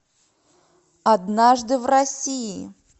однажды в россии